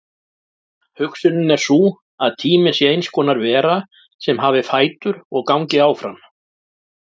Hugsunin er sú að tíminn sé eins konar vera sem hafi fætur og gangi áfram.